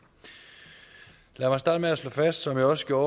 lad mig starte med at slå fast som jeg også gjorde